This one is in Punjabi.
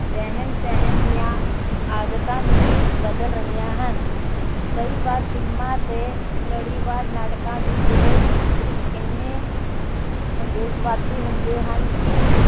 ਰਹਿਣ ਸਹਿਣ ਦੀਆਂ ਆਦਤਾਂ ਨੂੰ ਵੀ ਬਦਲ ਰਹੀਆਂ ਹਨ। ਕਈ ਵਾਰ ਫ਼ਿਲਮਾਂ ਤੇ ਲੜੀਵਾਰ ਨਾਟਕਾਂ ਵਿਚਲੇ ਦ੍ਰਿਸ਼ ਇੰਨੇ ਨੰ ਨੰਗੇਜਵਾਦੀ ਹੁੰਦੇ ਹਨ ਕਿ